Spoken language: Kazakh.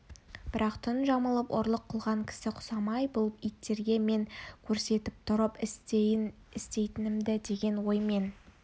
бірақ түн жамылып ұрлық қылған кісі құсамай бұл иттерге мен көрсетіп тұрып істейін істейтінімді деген оймен